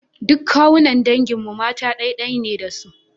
Duk kawunnan dangin mu mata ɗai-ɗai ne da su.